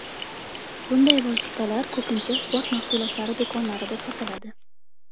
Bunday vositalar ko‘pincha sport mahsulotlari do‘konlarida sotiladi.